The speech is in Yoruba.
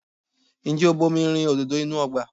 Ǹjẹ́ o bomi rin òdòdó inú ọgbà?